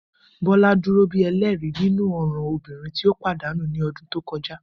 Bola duro bi ẹlẹri ninu ọran ọmọbirin ti o padanu ni ọdun to kọja